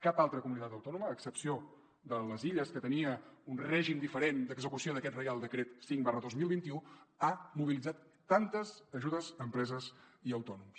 cap altra comunitat autònoma a excepció de les illes que tenia un règim diferent d’execució d’aquest reial decret cinc dos mil vint u ha mobilitzat tantes ajudes a empreses i autònoms